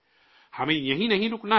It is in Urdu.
ہمیں یہیں نہیں رکنا ہے